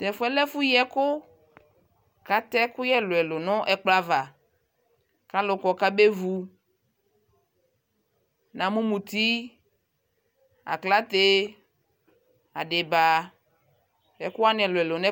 Tɛfʋɛ lɛ ɛfu yi ɛku, ku atɛ ɛkuyɛ ɛlʋɛlʋ nʋ ɛkplɔ ava Alʋ kɔ ku abevu Namʋ muti, aklate, adiba nu ɛkʋwanι ɛlʋɛlʋ nu